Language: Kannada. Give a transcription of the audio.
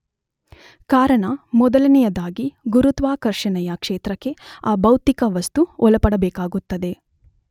ಕಾರಣ ಮೊದಲನೆಯದಾಗಿ ಗುರುತ್ವಾಕರ್ಷಣೆಯ ಕ್ಷೇತ್ರಕ್ಕೆ ಆ ಭೌತಿಕ ವಸ್ತು ಒಳಪಡಬೇಕಾಗುತ್ತದೆ.